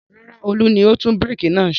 Rárá, Olú ni ó tún búrékì náà ṣe.